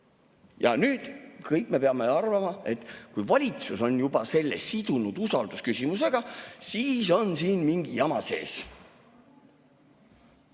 Ja nüüd me kõik peame arvama, et kui valitsus on sidunud selle usaldusküsimusega, siis on siin mingi jama sees.